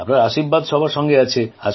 আপনার আশীর্বাদ সবার সঙ্গে আছে